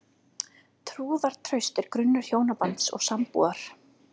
Trúnaðartraust er grunnur hjónabands og sambúðar.